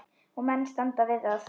Og menn standa við það.